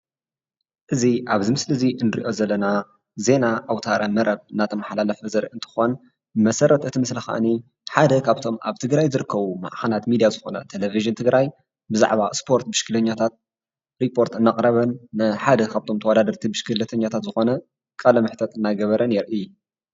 እዚ ኣብዚ ምስሊ እዚ እንሪኦ ዘለና ዜና ኣውተ-መረብ እናተማሓላለፈ ዘርኢ እንትኾን መሰረት እቲ ምስሊ ኸኣኒ ሓደ ካብቶም ኣብ ትግራይ ዝርከቡ ማዕኸናት ሚድያ ዝኾነ ቴሌቪዥን ትግራይ ብዛዕባ ስፖርት ብሽክሌኛታት ሪፖርት እናቕረበን ንሓደ ካብቶም ተዋዳደርቲ ብሽክሌኛታት ዝኾነ ቃለ-መሕተት እናገበረን የርኢ፡፡